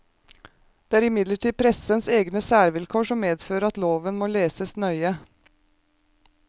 Det er imidlertid pressens egne særvilkår som medfører at loven må leses nøye.